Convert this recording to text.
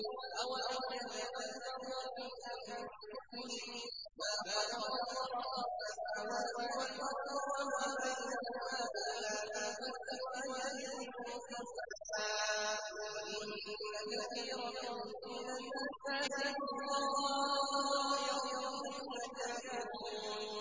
أَوَلَمْ يَتَفَكَّرُوا فِي أَنفُسِهِم ۗ مَّا خَلَقَ اللَّهُ السَّمَاوَاتِ وَالْأَرْضَ وَمَا بَيْنَهُمَا إِلَّا بِالْحَقِّ وَأَجَلٍ مُّسَمًّى ۗ وَإِنَّ كَثِيرًا مِّنَ النَّاسِ بِلِقَاءِ رَبِّهِمْ لَكَافِرُونَ